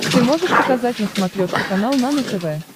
ты можешь показать на смотрешке канал нано тв